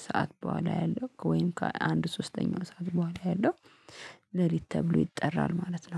ሰዓት በኋላ ያለው ወይም ከአንድ ሶስተኛው ሰዓት በኋላ ያለው ሌሊት ተብሎ ይጠራል ማለት ነው